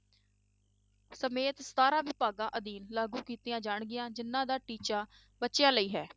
ਸਮੇਤ ਸਤਾਰਾਂ ਵਿਭਾਗਾਂ ਅਧੀਨ ਲਾਗੂ ਕੀਤੀਆਂ ਜਾਣਗੀਆਂ ਜਿੰਨਾਂ ਦਾ ਟੀਚਾ ਬੱਚਿਆਂ ਲਈ ਹੈ